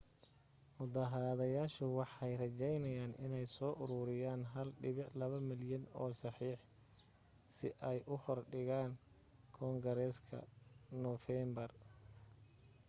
mudaharaadayaashu waxay rejaynayaan inay soo uruuriyaan 1.2 malyan oo saxiix si ay u hor dhigaan koonagreeska noofeembar